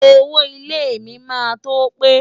Owó ilẹ̀ mi máa tó pé.